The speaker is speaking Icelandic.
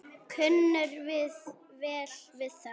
Kunnum við vel við þá?